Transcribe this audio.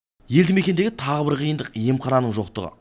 елді мекендегі тағы бір қиындық емхананың жоқтығы